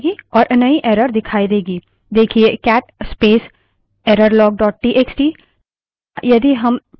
देखिए cat space errorlog dot TXT cat space errorlog dot txt